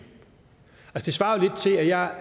svarer jo lidt til at jeg